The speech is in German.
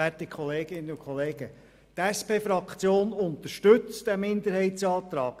Die SP-JUSO-PSA-Fraktion unterstützt den Minderheitsantrag.